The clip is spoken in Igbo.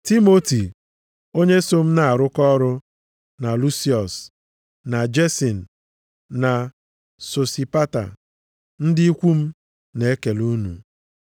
Timoti onye so m na-arụkọ ọrụ, na Lusiọs, na Jesin na Sosipata, ndị ikwu m na-ekele unu. + 16:21 \+xt Ọrụ 13:1\+xt* na \+xt 16:1\+xt* nakwa \+xt Ọrụ 17:15\+xt*